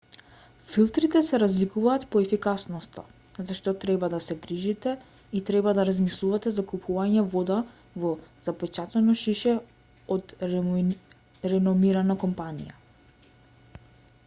филтрите се разликуваат по ефикасноста за што треба да се грижите и треба да размислувате за купување вода во запечатено шише од реномирана компанија